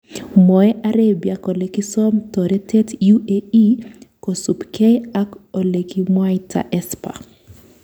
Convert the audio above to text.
Mwoe Arabia kole kisom toretet UAE, kosupkei ak olekimwaita Esper.